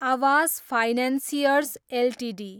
Awas financiers Ltd